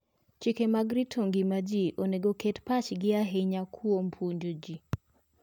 Chike mag rito ngima ji onego oket pachgi ahinya kuom puonjo ji.